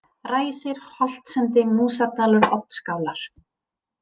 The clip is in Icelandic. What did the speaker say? Ræsir, Holtsendi, Músardalur, Oddskálar